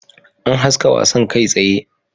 An haska wasan kai tsaye